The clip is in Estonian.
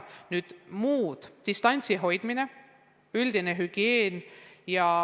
Nüüd muud palved: distantsi hoidmine, üldine hügieen.